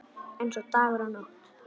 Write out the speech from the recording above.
Eins og dagur og nótt.